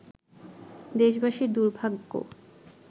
দেশবাসীর দুর্ভাগ্য